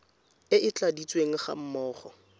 e e tladitsweng ga mmogo